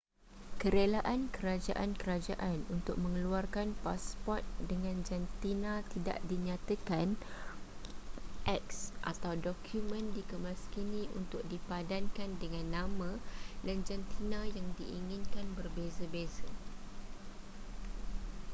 kerelaan kerajaan-kerajaan untuk mengeluarkan pasport dengan jantina tidak dinyatakan x atau dokumen dikemaskini untuk dipadankan dengan nama dan jantina yang diinginkan berbeza-beza